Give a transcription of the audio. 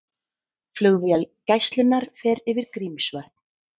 Flugvél Gæslunnar fer yfir Grímsvötn